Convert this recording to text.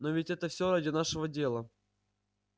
но ведь это всё ради нашего дела